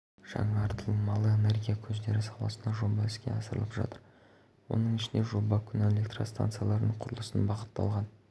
жаңартылмалы энергия көздері саласында жоба іске асырылып жатыр оның ішінде жоба күн электростанцияларының құрылысына бағытталған